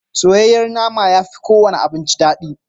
Soyayyen nama ya fi kowane abinci daɗi.